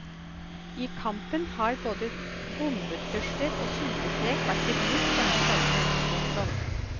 I kampen har både bombetrusler og sultestreik vært i bruk denne sommeren. punktum